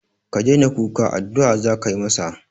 Ka daina kuka, addu'a za ka yi masa